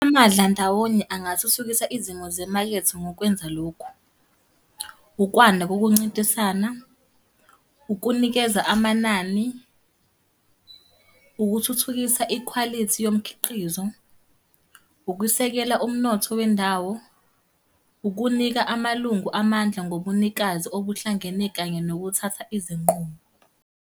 Amadlandawonye angathuthukisa izimo zemakethe ngokwenza lokhu. Ukwanda kokuncintisana, ukunikeza amanani, ukuthuthukisa ikhwalithi yomkhiqizo, ukusekela umnotho wendawo. Ukunika amalungu amandla ngobunikazi obuhlangene kanye nokuthatha izinqumo.